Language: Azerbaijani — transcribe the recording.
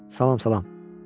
Salam, salam.